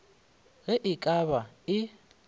ge e ka ba e